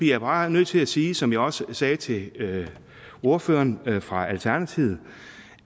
jeg bare nødt til at sige som jeg også sagde til ordføreren fra alternativet